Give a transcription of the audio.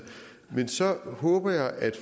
men så håber jeg at